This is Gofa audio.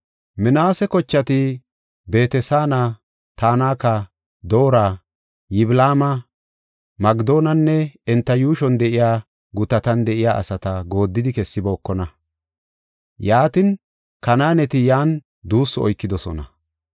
Minaase kochati Beet-Saana, Tanaka, Doora, Yiblaama Magidonne enta yuushuwan de7iya gutatan de7iya asata gooddidi kessibookona. Yaatin, Kanaaneti yan duussu oykidosona.